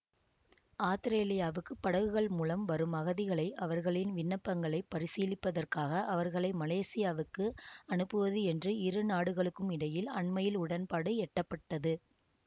ஆத்திரேலியாவுக்கு படகுகள் மூலம் வரும் அகதிகளை அவர்களின் விண்ணப்பங்களைப் பரிசீலிப்பதற்காக அவர்களை மலேசியாவுக்கு அனுப்புவது என்று இரு நாடுகளுக்கும் இடையில் அண்மையில் உடன்பாடு எட்டப்பட்டது